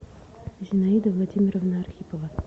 зинаида владимировна архипова